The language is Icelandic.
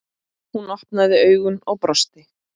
Hún opnaði augun og brosti.